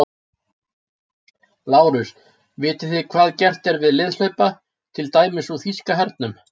LÁRUS: Vitið þið hvað gert er við liðhlaupa, til dæmis úr þýska hernum?